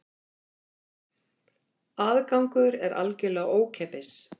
Aðgangur er algjörlega ókeypis